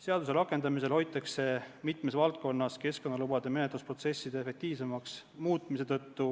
Seaduse rakendamisel hoitakse mitmes valdkonnas keskkonnalubade menetlusprotsesside efektiivsemaks muutmise tõttu